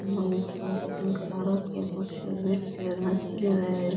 इमे आ छोरा कटिंग करा राखी है कुर्सी पर बैठयो और हंस रेहो है।